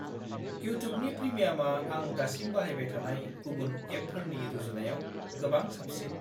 इउटुबनि प्रिमियामा आं दासिम बाहायबाय थानाय गुबुन एपफोरनि रुजुनायाव गोबां साबसिन।